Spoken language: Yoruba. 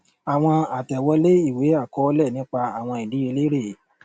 àwọn àtẹwọlé ìwé àkọọlẹ nípa àwọn ìdíyelé rèé